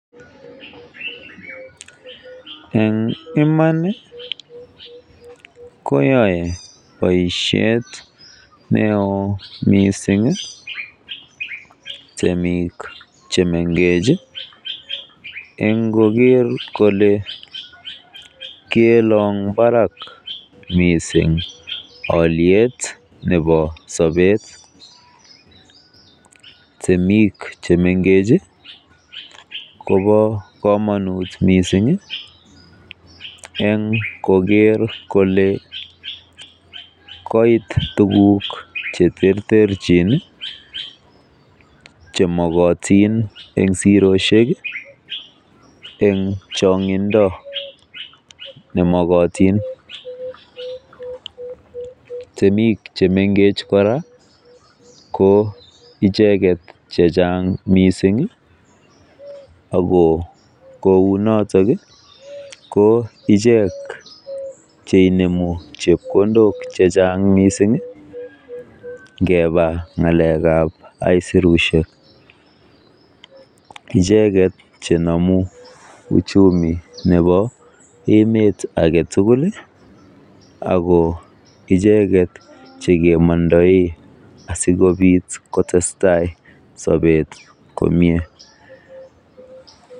En iman koyae boisiet neo mising temik chemengech en koker kole kelong barak mising olyet nebo sobet. Temik che mengech kobo komonut en koker kole koit tuguk che terterchin chemokotin en siroshek en chong'indo nemokotin. Temik che mengech kora ko icheget che chang mising ago kounoto ko ichek che inemu chepkondok che chnag misng ingeba ng'alek ab aisurushek. Icheget che nome uchumi nebo emet age tugul ago icheget che kemondoe asikobit kotestai sobet komie.